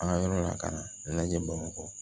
An ka yɔrɔ la ka na ɲɛnajɛ bamakɔ